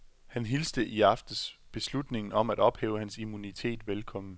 Han hilste i aftes beslutningen om at ophæve hans immunitet velkommen.